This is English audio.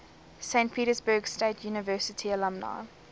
saint petersburg state university alumni